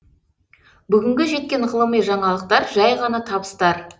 бүгінгі жеткен ғылыми жаңалықтар жай ғана табыстар